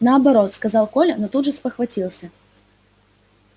наоборот сказал коля но тут же спохватился